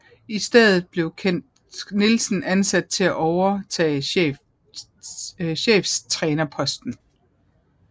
I stedet blev Kent Nielsen ansat til at overtage cheftrænerposten